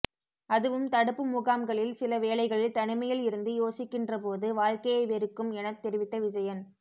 அதுவும் தடுப்பு முகாம்களில் சில வேளைகளில் தனிமையில் இருந்து யோசிக்கின்றபோது வாழ்க்கையே வெறுக்கும் எனத் தெரிவித்த விஜயன்